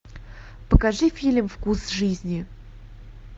покажи фильм вкус жизни